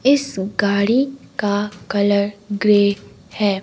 इस गाड़ी का कलर ग्रे है।